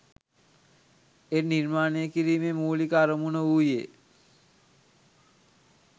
එය නිර්මාණය කිරීමේ මූලික අරමුණ වූයේ